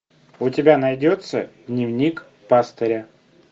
у тебя найдется дневник пастыря